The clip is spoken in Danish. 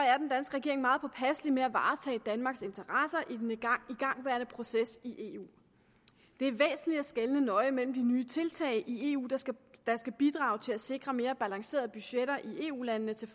regering meget påpasselig med at varetage danmarks interesser i den igangværende proces i eu det er væsentligt at skelne nøje mellem de nye tiltag i eu der skal bidrage til at sikre mere balancerede budgetter i eu landene til